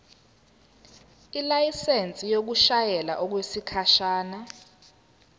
ilayisensi yokushayela okwesikhashana